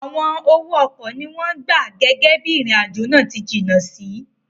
Awọn owo ọkọ ni wọn gba gege bii irin-ajo naa ti jinna si